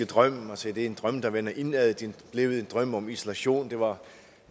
drøm og sagde det er en drøm der vender indad det er blevet en drøm om isolation det var